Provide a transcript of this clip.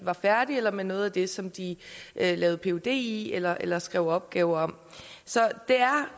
færdige med noget af det som de lavede phd i eller eller skrev opgave om så det